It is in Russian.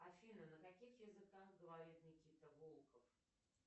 афина на каких языках говорит никита волков